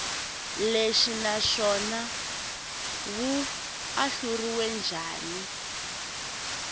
lexi naswona wu ahluriwe njhani